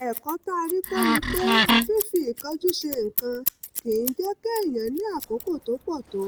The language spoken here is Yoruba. ẹ̀kọ́ tá a rí kọ́ ni pé fífi ìkánjú ṣe nǹkan kì í jẹ́ kéèyàn ní àkókò tó pọ̀ tó